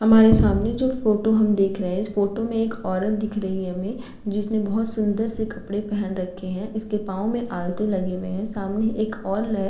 हमारे सामने जो फोटो हम देख रहे हैं इस फोटो में एक औरत दिख रही है हमें जिसने बहुत सूंदर से कपड़े पहन रखे हैं। इसके पाँव में आलते लगे हुए हैं। सामने एक और ले --